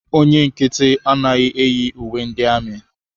Onye nkịtị anaghị eyi uwe ndị amị.